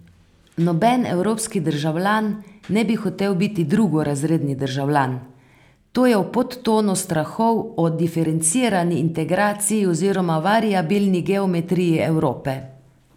Noben evropski državljan ne bi hotel biti drugorazredni državljan, to je v podtonu strahov o diferencirani integraciji oziroma variabilni geometriji Evrope.